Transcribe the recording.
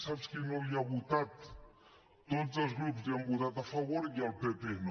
saps qui no hi ha votat tots els grups hi han votat a favor i el pp no